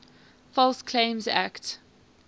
false claims act